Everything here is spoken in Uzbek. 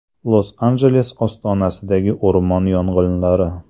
Los-Anjeles ostonasidagi o‘rmon yong‘inlari.